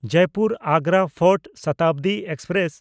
Jaipur-Agra fort Shatabdi express